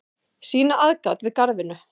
sýna aðgát við garðvinnu